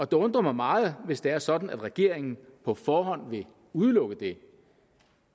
det undrer mig meget hvis det er sådan at regeringen på forhånd vil udelukke det